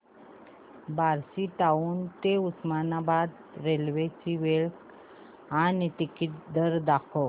Barshi town ते Osmanabad railway ची वेळ आणि तिकीट दर दाखव